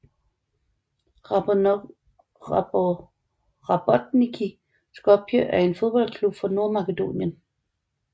Rabotnicki Skopje er en fodboldklub fra Nordmakedonien